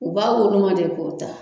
U b'a woloma de k'o ta